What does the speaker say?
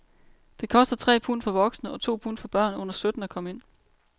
Det koster tre pund for voksne og to pund for børn under sytten at komme ind.